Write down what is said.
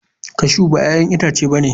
Cashew ba 'ya'yan itace ba ne.